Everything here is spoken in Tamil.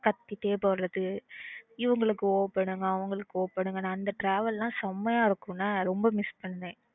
கத்திட்டே போறது இவங்களுக்கு ஓ போடுங்க அவங்களுக்கு ஓ போடுங்க ன்னு அந்த travel லாம் செம்மையா இருக்கும் ல ரொம்ப miss பண்றேன்